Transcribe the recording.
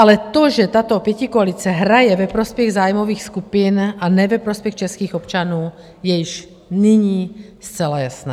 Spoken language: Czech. Ale to, že tato pětikoalice hraje ve prospěch zájmových skupin, a ne ve prospěch českých občanů, je již nyní zcela jasné.